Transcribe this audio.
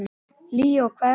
Líó, hvað er í matinn?